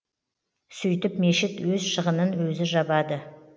сөйтіп мешіт өз шығынын өзі жабады